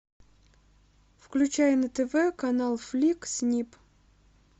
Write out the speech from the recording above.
включай на тв канал флик снип